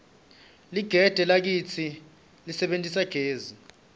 ligede lakitsi lisebentisa gesi